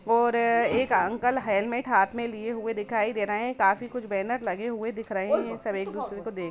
ओर एक uncle helmet हाथ में लिए हुये है दिखाय दे रहे है काफी कुछ बेनर लगे हुए दिख रहे है सब एकक दुसरे को देख रहे है।